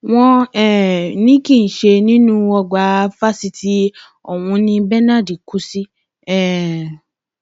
wọn um ní kì í ṣe nínú ọgbà fásitì ọhún ni benard kú sí um